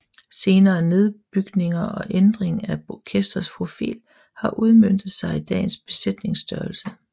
Senere nedbygninger og ændring af orkestrets profil har udmøntet sig i dagens besætningsstørrelse